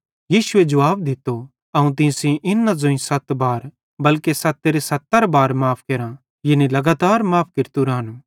यीशुए जुवाब दित्तो अवं तीं सेइं इन न ज़ोईं सत बार बल्के सत्तेरे सत्तर बार माफ़ करां यानी लगातार माफ़ केरतू रानू